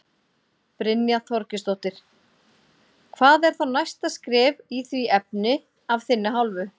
Brynja Þorgeirsdóttir: Hvað er þá næsta skref í því efni af þinni hálfu?